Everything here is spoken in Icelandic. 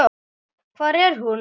Hvar er hún?